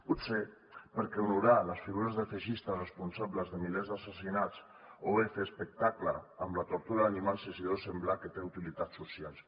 potser perquè honorar les figures del feixistes responsables de milers d’assassinats o bé fer espectacle amb la tortura d’animals els deu semblar que té utilitats socials